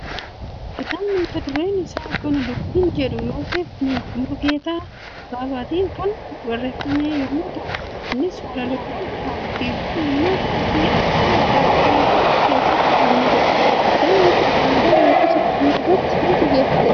Kitaabni mata dureen isaa kana dubbiin jedhamu Yooseef Mulugeetaa Babaatiin kan barreeffame yemmuu ta'u, innis walaloowwan, hibboo, mammaaksa fi afoola addaa addaa kan of keessatti hammateedha. Kitaabni Kun aadaa hawaasa Oromoo irratti kan xiyyeeffatedha.